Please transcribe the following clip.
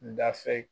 Dafɛ